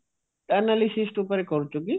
analysist ଉପରେ କହୁଛୁ କି